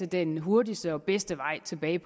den hurtigste og bedste vej tilbage